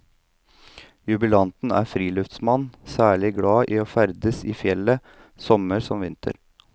Jubilanten er friluftsmann, særlig glad i å ferdes i fjellet, sommer som vinter.